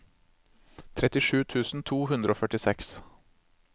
trettisju tusen to hundre og førtiseks